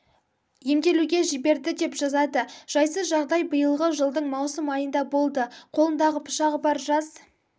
емделуге жіберді деп жазады жайсыз жағдай биылғы жылдың маусым айында болды қолында пышағы бар жас